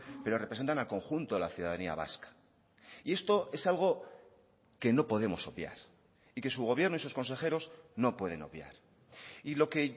pero representan al conjunto de la ciudadanía vasca y esto es algo que no podemos obviar y que su gobierno y sus consejeros no pueden obviar y lo que